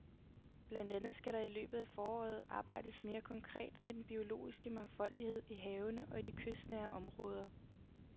Blandt andet skal der i løbet af foråret arbejdes mere konkret med den biologiske mangfoldighed i havene og i de kystnære områder.